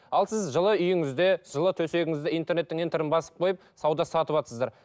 ал сіз жылы үйіңізде жылы төсегіңізде интернеттің ентерін басып қойып сауда сатыватсыздар